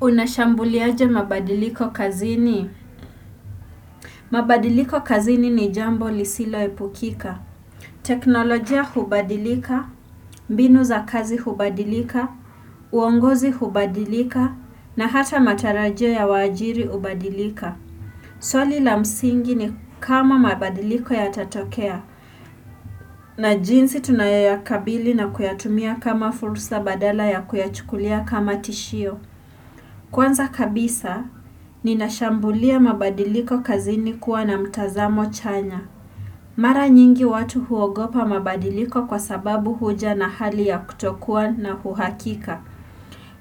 Unashambuliaje mabadiliko kazini? Mabadiliko kazini ni jambo lisilo epukika. Teknolojia hubadilika, mbinu za kazi hubadilika, uongozi hubadilika, na hata matarajio ya waajiri hubadilika. Swali la msingi ni kama mabadiliko yatatokea, na jinsi tunayoyakabili na kuyatumia kama fursa badala ya kuyachukulia kama tishio. Kwanza kabisa, ninashambulia mabadiliko kazini kuwa na mtazamo chanya. Mara nyingi watu huogopa mabadiliko kwa sababu huja na hali ya kutokuwa na uhakika.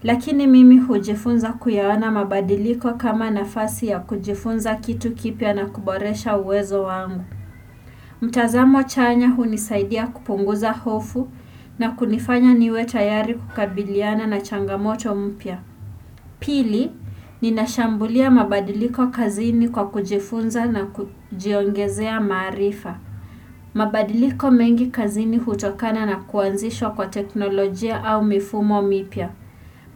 Lakini mimi hujifunza kuyaona mabadiliko kama nafasi ya kujifunza kitu kipya na kuboresha uwezo wangu. Mtazamo chanya hunisaidia kupunguza hofu na kunifanya niwe tayari kukabiliana na changamoto mpya. Pili, ninashambulia mabadiliko kazini kwa kujifunza na kujiongezea maarifa. Mabadiliko mengi kazini hutokana na kuanzishwa kwa teknolojia au mifumo mipya.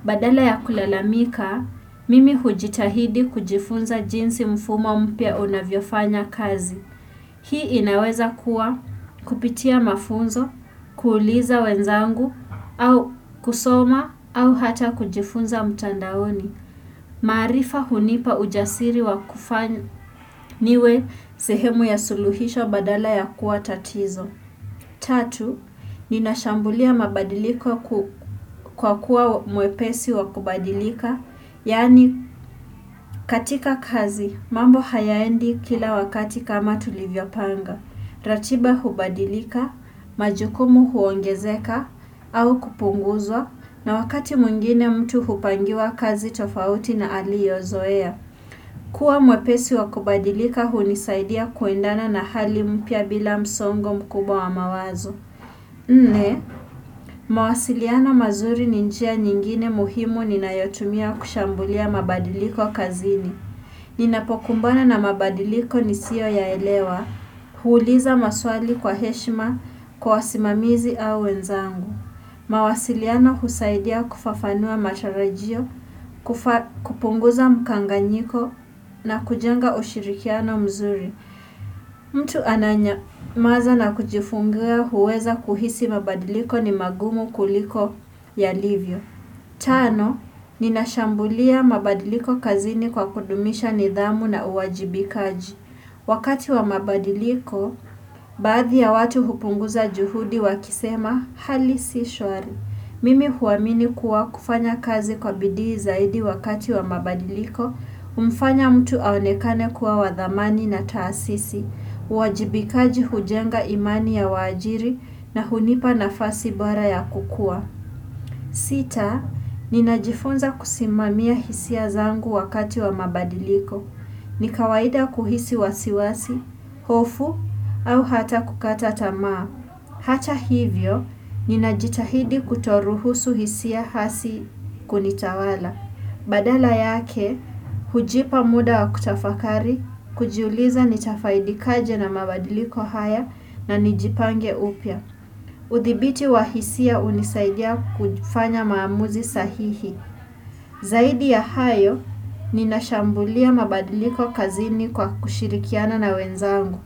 Badala ya kulalamika, mimi hujitahidi kujifunza jinsi mfumo mpya unavyofanya kazi. Hii inaweza kuwa kupitia mafunzo, kuuliza wenzangu, au kusoma, au hata kujifunza mtandaoni. Maarifa hunipa ujasiri wa kufanya niwe sehemu ya suluhisho badala ya kuwa tatizo. Tatu, ninashambulia mabadiliko kwa kuwa mwepesi wa kubadilika. Yaani katika kazi, mambo hayaendi kila wakati kama tulivyopanga. Ratiba hubadilika, majukumu huongezeka au kupunguzwa na wakati mwingine mtu hupangiwa kazi tofauti na aliozoea. Kuwa mwepesi wa kubadilika hunisaidia kuendana na hali mpya bila msongo mkubwa wa mawazo. Nne, mawasiliano mazuri ni njia nyingine muhimu ninayotumia kushambulia mabadiliko kazini. Ninapokumbana na mabadiliko nisioyaelewa, huuliza maswali kwa heshima kwa simamizi au wenzangu. Mawasiliano husaidia kufafanua matarajio, kupunguza mkanganyiko na kujenga ushirikiano mzuri. Mtu ananyamaza na kujifungua huweza kuhisi mabadiliko ni magumu kuliko yalivyo. Tano, ninashambulia mabadiliko kazini kwa kudumisha nidhamu na uwajibikaji. Wakati wa mabadiliko, baadhi ya watu hupunguza juhudi wakisema hali si shwari. Mimi huamini kuwa kufanya kazi kwa bidii zaidi wakati wa mabadiliko, humfanya mtu aonekane kuwa wa thamani na taasisi, uwajibikaji hujenga imani ya waajiri na hunipa nafasi bora ya kukua. Sita, ninajifunza kusimamia hisia zangu wakati wa mabadiliko. Ni kawaida kuhisi wasiwasi, hofu, au hata kukata tamaa. Hata hivyo, ninajitahidi kutoruhusu hisia hasi kunitawala. Badala yake, hujipa muda wa kutafakari, kujiuliza nitafaidikaje na mabadiliko haya na nijipange upya. Udhibiti wa hisia hunisaidia kufanya maamuzi sahihi. Zaidi ya hayo, ninashambulia mabadiliko kazini kwa kushirikiana na wenzangu.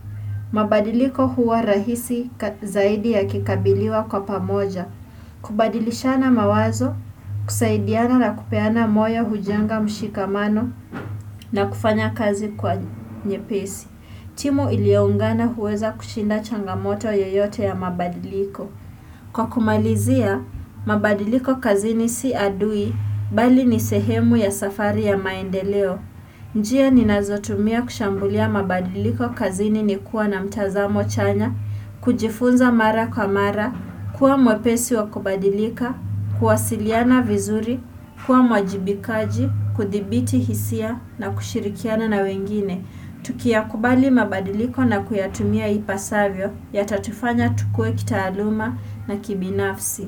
Mabadiliko huwa rahisi zaidi yakikabiliwa kwa pamoja. Kubadilishana mawazo, kusaidiana na kupeana moyo hujenga mshikamano na kufanya kazi kwa nyepesi timu ilioungana huweza kushinda changamoto yoyote ya mabadiliko Kwa kumalizia, mabadiliko kazini si adui bali ni sehemu ya safari ya maendeleo njia ninazotumia kushambulia mabadiliko kazini ni kuwa na mtazamo chanya kujifunza mara kwa mara, kuwa mwepesi wa kubadilika, kuwasiliana vizuri, kuwa mwajibikaji, kudhibiti hisia na kushirikiana na wengine Tukiyakubali mabadiliko na kuyatumia ipasavyo yatatufanya tukue kitaaluma na kibinafsi.